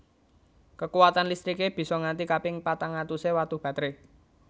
Kekuwatan listriké bisa nganti kaping patang atusé watu batré